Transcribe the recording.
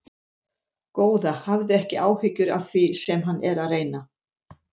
Góða, hafðu ekki áhyggjur af því sem hann er að reyna.